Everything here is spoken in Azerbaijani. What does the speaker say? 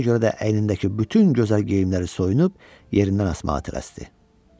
Ona görə də əynindəki bütün gözəl geyimləri soyunub, yerindən asmağa tələsdi.